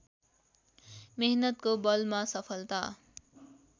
मेहनतको बलमा सफलता